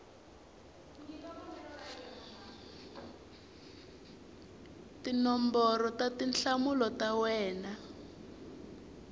tinomboro ta tinhlamulo ta wena